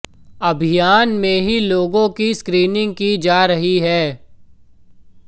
अभियान में ही लोगों की स्क्रिीनिंग की जा रही है